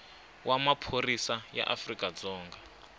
wa maphorisa ya afrika dzonga